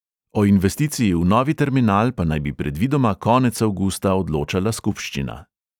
O investiciji v novi terminal pa naj bi predvidoma konec avgusta odločala skupščina.